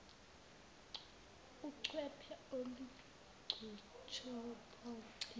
ucwephe olunguchopho cilo